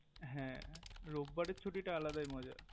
হে রোববারের ছুটিটা আলাদাই মজা